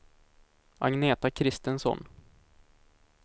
Agneta Kristensson